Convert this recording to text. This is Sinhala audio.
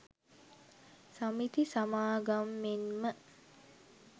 සමිති සමාගම් මෙන්ම